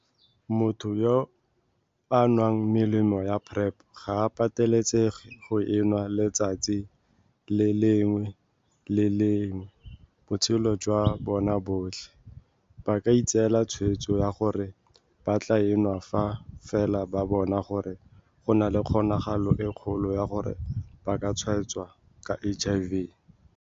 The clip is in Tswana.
"Motho yo a nwang melemo ya PrEP ga a patelesege go e nwa letsatsi le lengwe le le lengwe botshelo jwa bona jotlhe, ba ka itseela tshwetso ya gore ba tla e enwa fa fela ba bona gore go na le kgonagalo e kgolo ya gore ba ka tshwaetswa ka HIV."